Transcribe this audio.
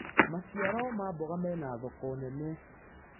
maciaro ma mboga mena thoko nene